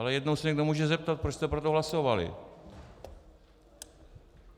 Ale jednou se někdo může zeptat, proč jste pro to hlasovali.